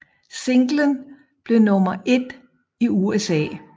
Singlen blev nummer 1 i USA